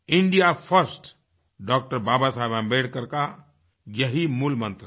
India first डॉ बाबा साहेब अम्बेडकर का यही मूलमंत्र था